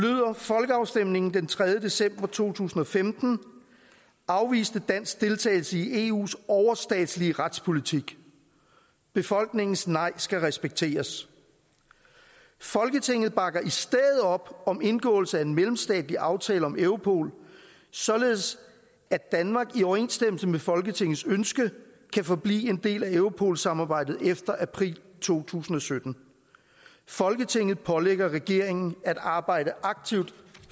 folkeafstemningen den tredje december to tusind og femten afviste dansk deltagelse i eu’s overstatslige retspolitik befolkningens nej skal respekteres folketinget bakker i stedet op om indgåelse af en mellemstatslig aftale om europol således at danmark i overensstemmelse med folketingets ønske kan forblive en del af europolsamarbejdet efter april to tusind og sytten folketinget pålægger regeringen at arbejde aktivt